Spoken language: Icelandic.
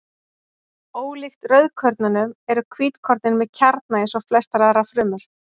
Ólíkt rauðkornunum eru hvítkornin með kjarna eins og flestar aðrar frumur.